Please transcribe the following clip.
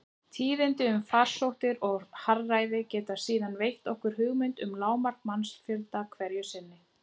Tíðindi um farsóttir og harðæri geta síðan veitt okkur hugmynd um lágmark mannfjöldans hverju sinni.